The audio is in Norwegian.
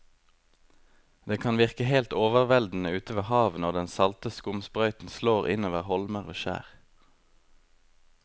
Det kan virke helt overveldende ute ved havet når den salte skumsprøyten slår innover holmer og skjær.